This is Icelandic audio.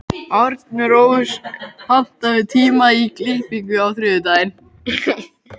Arnrós, pantaðu tíma í klippingu á þriðjudaginn.